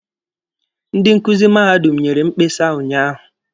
Ndi nkuzi mahadum nyere mkpesa unyaahụ.